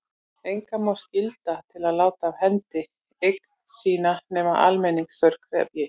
Engan má skylda til að láta af hendi eign sína nema almenningsþörf krefji.